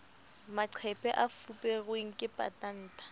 maqephe a fuperweng ke patanta